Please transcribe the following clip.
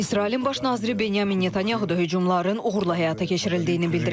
İsrailin Baş naziri Binyamin Netanyahu da hücumların uğurla həyata keçirildiyini bildirib.